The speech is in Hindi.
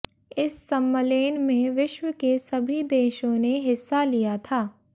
इस सम्मलेन में विश्व के सभी देशों ने हिस्सा लिया था